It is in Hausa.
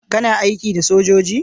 kana aiki da sojoji?